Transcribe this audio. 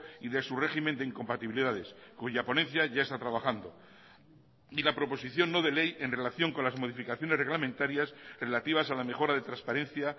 y de su régimen de incompatibilidades cuya ponencia ya está trabajando y la proposición no de ley en relación con las modificaciones reglamentarias relativas a la mejora de transparencia